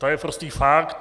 To je prostý fakt.